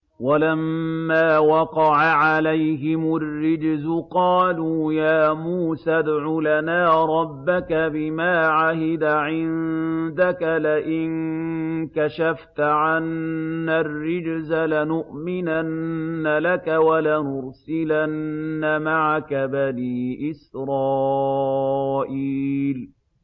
وَلَمَّا وَقَعَ عَلَيْهِمُ الرِّجْزُ قَالُوا يَا مُوسَى ادْعُ لَنَا رَبَّكَ بِمَا عَهِدَ عِندَكَ ۖ لَئِن كَشَفْتَ عَنَّا الرِّجْزَ لَنُؤْمِنَنَّ لَكَ وَلَنُرْسِلَنَّ مَعَكَ بَنِي إِسْرَائِيلَ